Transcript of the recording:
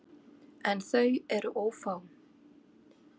En þau eru ófá.